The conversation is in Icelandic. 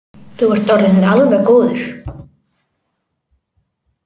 Þú ert orðinn alveg góður.